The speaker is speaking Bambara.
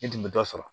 I tun bɛ dɔ sɔrɔ